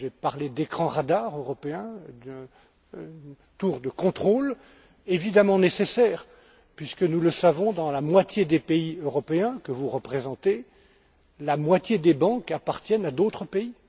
J'ai parlé d'écrans radars européens, de tours de contrôle, évidemment nécessaires puisque, nous le savons, dans la moitié des pays européens, que vous représentez, la moitié des banques appartiennent à d'autres pays.